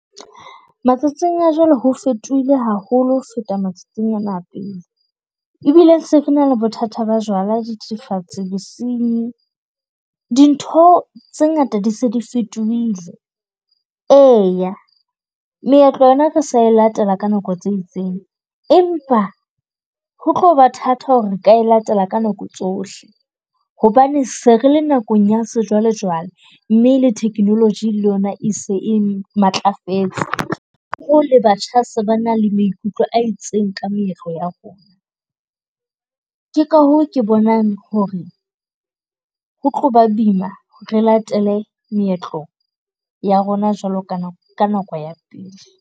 Matsatsing a jwale ho fetohile haholo ho feta matsatsing ane a pele. Ebile se re na le bothata ba jwala, dithethefatsi, bosinyi. Dintho tse ngata di se di fetohile. E, meetlo yona re sa latela ka nako tse itseng empa ho tlo ba thata hore re ka latela ka nako tsohle hobane se re le nakong ya sejwalejwale. Mme le technology le yona e se e matlafetse hoo le batjha se ba na le maikutlo a itseng ka meetlo ya rona. Ke ka hoo ke bonang hore ho tlo ba boima re latele meetlo ya rona jwalo ka nako ya pele.